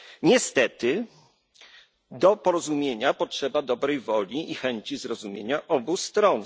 Niestety, do porozumienia potrzeba dobrej woli i chęci zrozumienia z obu stron.